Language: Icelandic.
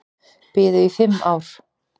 Biðu í fimm ár